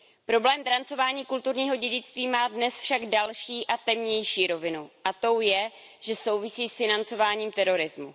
Problém drancování kulturního dědictví má dnes však další a temnější rovinu, a tou je, že souvisí s financováním terorismu.